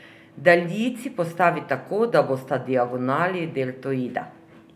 Daljici postavi tako, da bosta diagonali deltoida.